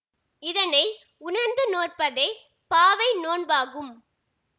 இதனை உணர்ந்து நோற்பதே பாவை நோன்பாகும்